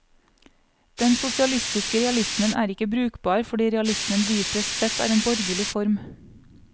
Den sosialistiske realismen er ikke brukbar fordi realismen dypest sett er en borgerlig form.